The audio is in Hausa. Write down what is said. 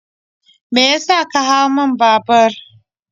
Me ya sa ka hau mun babur?